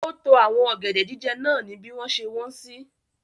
Ó to àwọn ọ̀gẹ̀dẹ̀ jíjẹ náà ni bí wọ́n ṣe wọ́n sí.